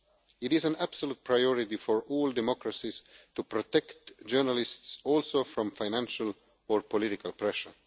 It is an absolute priority for all democracies to protect journalists also from financial or political pressure.